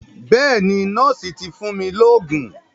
Bẹ́ẹ̀ni, nọ́ọ̀sì ti fún mi lóògùn.